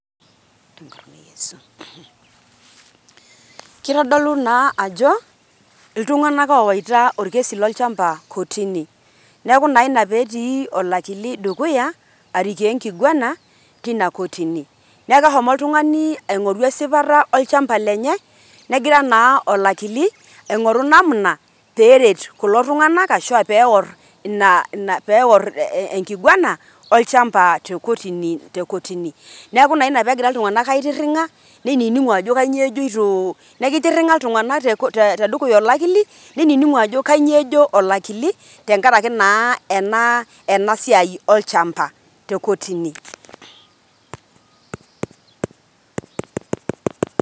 Kitodolu naa ajo iltunganak owaita orkesi lolchamba kotini. niaku naa ina peetii olakili dukuya arikoo enkiguana tina kotini .niaku ehomo oltungani aingoru esipata olchamba lenye ,negira naa olakili aingoru namna peret kulo tunganak ashu peorr ina peorr enkiguana olchamba te kotini te kotini. niaku naa ina pegira iltunganak aitiringa niningu ajo kainyioo ejoito .niaku kitiringa iltunganak te ko te dukuya olakili niningu ajo kanyoo ejo olakili tenkaraki naa ena ena enasiai olchamba te kotini.